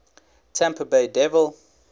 tampa bay devil